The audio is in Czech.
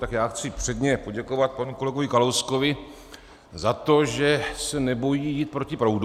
Tak já chci předně poděkovat panu kolegovi Kalouskovi za to, že se nebojí jít proti proudu.